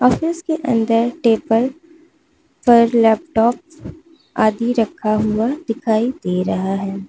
Office के अंदर table और लैपटॉप आदि रखा हुआ दिखाई दे रहा है।